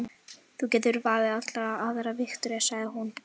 Þú getur valið allar aðrar, Viktoría, sagði hún.